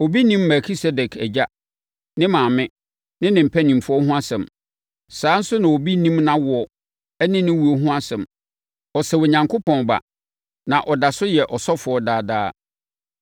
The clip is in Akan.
Obi nnim Melkisedek agya, ne maame, ne ne mpanimfoɔ ho asɛm. Saa ara nso na obi nnim nʼawoɔ ne ne owuo nso ho asɛm. Ɔsɛ Onyankopɔn Ba, na ɔda so yɛ ɔsɔfoɔ daadaa.